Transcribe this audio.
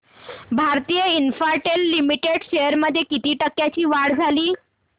Bharti Infratel Limited shares मध्ये किती टक्क्यांची वाढ झाली